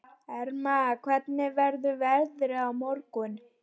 Erna, hvernig verður veðrið á morgun?